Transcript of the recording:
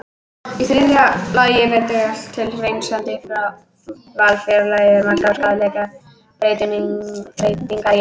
Í þriðja lagi bendir allt til að hreinsandi val fjarlægi margar skaðlegar breytingar í einu.